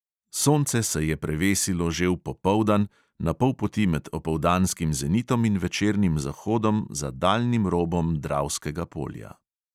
Sonce se je prevesilo že v popoldan, na pol poti med opoldanskim zenitom in večernim zahodom za daljnim robom dravskega polja.